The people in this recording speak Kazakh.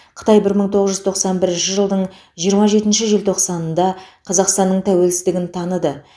қытай бір мың тоғыз жүз тоқсан бірінші жылдың жиырма жетінші желтоқсанында қазақстанның тәуелсіздігін таныды